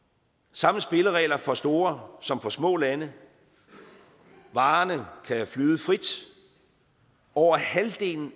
samme spilleregler for store som for små lande varerne kan flyde frit over halvdelen